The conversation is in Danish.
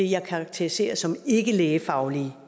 jeg karakteriserer som ikkelægefaglige